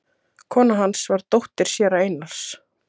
Kona hans var dóttir séra Einars